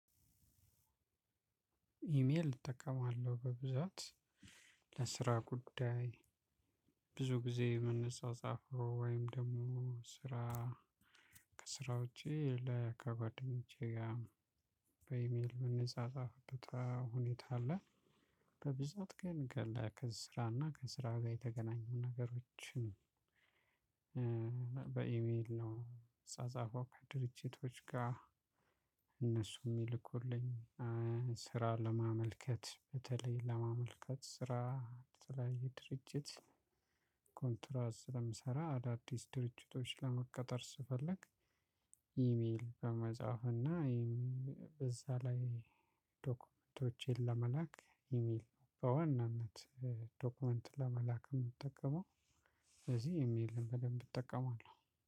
ኢሜል እጠቀማለሁ በብዛት ለስራ ጉዳይ ብዙ ጊዜ ምንጻጻፈው ወይም ደግሞ ስራ ከስራ ውጪ ከጓደኞቼ ጋር በኢሜል ምንጻጻፍበት ሁኔታ አለ። በብዛት ግን ከስራና ከስራ ጋር የተገናኙ ነገሮችን። በኢሜል ነው ምጻጻፈው ከድርጅቶች ጋር። እነሱ የሚልኩልኝ ስራ ለማመልከት በተለይ ለማመልከት ስራ ስራ የድርጅት ኮንትራት ስለምሰራ አዳዲስ ድርጅቶች ለመቀጠር ስፈልግ። ኢሜል በመጻፍ እና በዛ ላይ ዶክመንቶቼን ለመላክ ኢሜል በዋናነት ዶክመንት ለመላክ የምትጠቀመው። ስለዚህ ኢሜልን በደንብ እጠቀማለሁ።